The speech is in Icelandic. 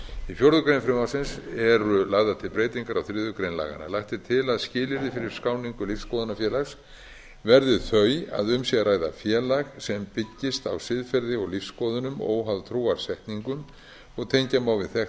í fjórða grein frumvarpsins eru lagðar til breytingar á þriðju grein laganna lagt er til að skilyrði fyrir skráningu lífsskoðunarfélags verði þau að um sé að ræða félag sem byggist á siðferði og lífsskoðunum óháð trúarsetningum og tengja má við þekkt